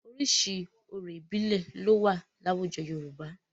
Oríṣiríṣi orò ìbílẹ̀ ló wà láwùjọ Yorùbá.